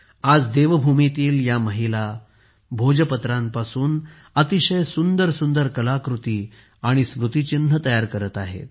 आज देवभूमीतील या महिला भोजपत्रापासून अतिशय सुंदर सुंदर कलाकृती आणि स्मृतिचिन्हे तयार करत आहेत